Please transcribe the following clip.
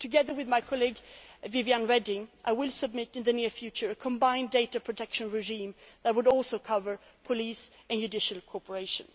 appropriate way. Together with my colleague, Viviane Reding, I will submit in the near future a combined data protection regime that would also cover police and judicial